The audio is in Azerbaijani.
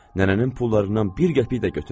Nənənin pullarından bir qəpik də götürməz.